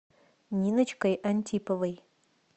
ниночкой антиповой